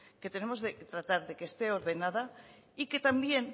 que tenemos que tratar que esté ordenada y que también